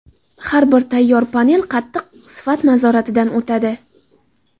Har bir tayyor panel qattiq sifat nazoratidan o‘tadi.